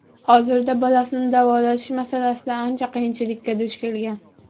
Hozirda bolasini davolatish masalasida ancha qiyinchilikka duch kelgan.